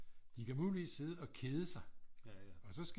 De kan muligvis sidde og kede sig og så